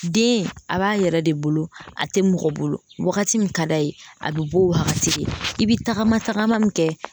Den a b'a yɛrɛ de bolo, a ti mɔgɔ bolo wagati min ka d'a ye a bi b'o wagati de, i bi tagama tagama min kɛ